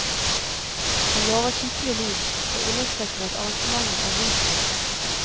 Han lover skikkelig lyd, og understreker at arrangementet er rusfritt.